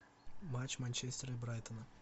матч манчестера и брайтона